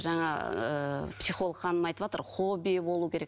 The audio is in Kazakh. жаңа ыыы психолог ханым айтыватыр хоббиі болу керек